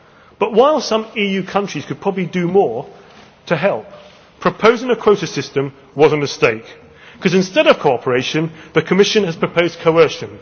line. But while some EU countries could probably do more to help, proposing a quota system was a mistake because, instead of cooperation, the Commission has proposed coercion.